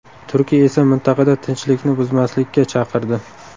Turkiya esa mintaqada tinchlikni buzmaslikka chaqirdi .